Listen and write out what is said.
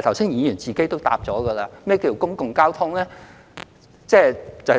剛才議員已自行回答何謂公共交通，即